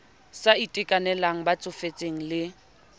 sa itekanelang ba tsofetseng le